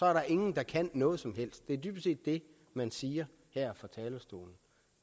er der ingen der kan noget som helst det er dybest set det man siger her fra talerstolen